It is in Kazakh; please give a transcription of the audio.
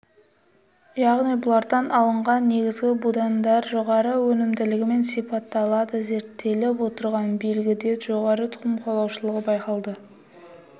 яғни бұлардан алынған негізгі будандар жоғары өнімділігімен сипатталады зерттеліп отырған белгіде жоғары тұқым қуалаушылығы байқалды